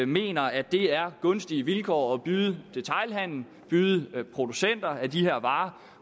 mener at det er gunstige vilkår at byde detailhandelen og byde producenterne af de her varer